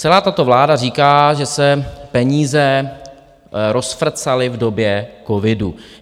Celá tato vláda říká, že se peníze rozfrcaly v době covidu.